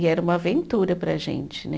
E era uma aventura para a gente, né?